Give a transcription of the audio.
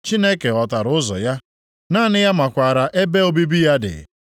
Chineke ghọtara ụzọ ya, naanị ya makwara ebe obibi ya dị.